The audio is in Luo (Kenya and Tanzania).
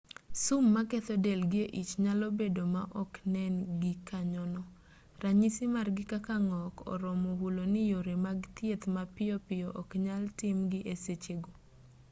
sum maketho del gi e ich nyalo bedo ma oknen gikanyono ranyisi margi kaka ng'ok oromo hulo ni yore mag thieth mapiyo piyo oknyal tim gi e sechego